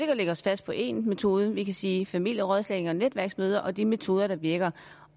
at lægge os fast på én metode vi kan sige familierådslagning og netværksmøder og de metoder der virker